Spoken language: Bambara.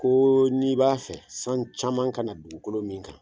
Ko n'i b'a fɛ san caman ka na dugukolo min kan